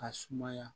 Ka sumaya